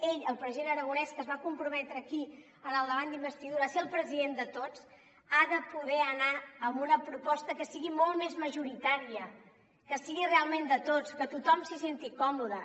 ell el president aragonès que es va comprometre aquí en el debat d’investidura a ser el president de tots ha de poder anar amb una proposta que sigui molt més majoritària que sigui realment de tots que tothom s’hi senti còmode